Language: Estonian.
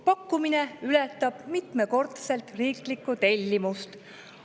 Pakkumine ületab mitmekordselt riiklikku tellimust.